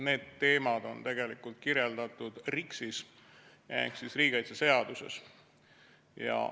Need teemad on kirjas RIKS-is ehk riigikaitseseaduses.